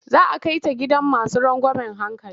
Za a kai ta gidan masu rangeamen hankali.